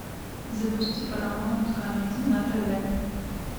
запусти парамаунт камеди на тв